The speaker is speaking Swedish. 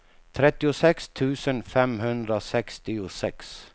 trettiosex tusen femhundrasextiosex